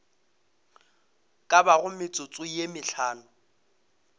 ka bago metsotso ye mehlano